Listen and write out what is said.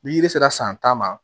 Ni yiri sera san tan ma